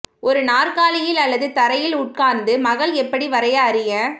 ஒரு நாற்காலியில் அல்லது தரையில் உட்கார்ந்து மக்கள் எப்படி வரைய அறிய